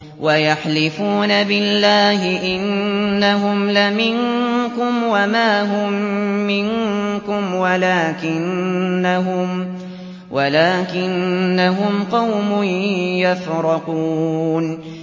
وَيَحْلِفُونَ بِاللَّهِ إِنَّهُمْ لَمِنكُمْ وَمَا هُم مِّنكُمْ وَلَٰكِنَّهُمْ قَوْمٌ يَفْرَقُونَ